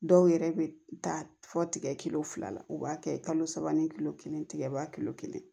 Dɔw yɛrɛ bɛ taa fɔ tigɛ kilo fila la u b'a kɛ kalo saba ni kilo kelen tigɛba kilo kelen